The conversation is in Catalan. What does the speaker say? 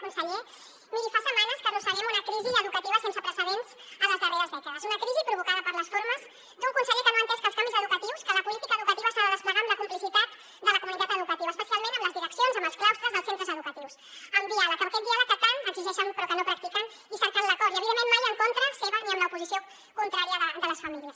conseller miri fa setmanes que arrosseguem una crisi educativa sense precedents a les darreres dècades una crisi provocada per les formes d’un conseller que no ha entès que els canvis educatius que la política educativa s’ha de desplegar amb la complicitat de la comunitat educativa especialment amb les direccions amb els claustres dels centres educatius amb diàleg aquest diàleg que tant exigeixen però que no practiquen i cercant l’acord i evidentment mai en contra seva ni amb l’oposició contrària de les famílies